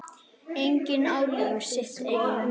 Enginn á líf sitt einn.